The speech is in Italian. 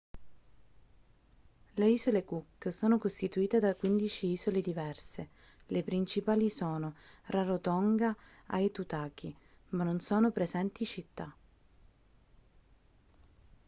le isole cook sono costituite da 15 isole diverse le principali sono rarotonga e aitutaki ma non sono presenti città